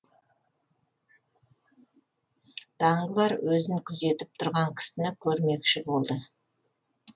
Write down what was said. данглар өзін күзетіп тұрған кісіні көрмекші болды